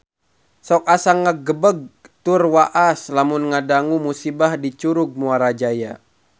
Sok asa ngagebeg tur waas lamun ngadangu musibah di Curug Muara Jaya